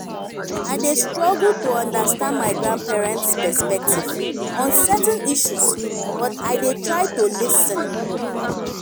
i dey struggle to understand my grandparents' perspective on certain issues but i dey try to lis ten.